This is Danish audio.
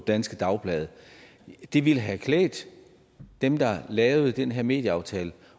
danske dagblade det ville have klædt dem der lavede den her medieaftale